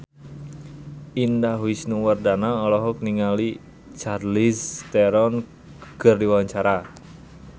Indah Wisnuwardana olohok ningali Charlize Theron keur diwawancara